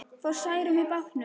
Fór Særún með bátnum.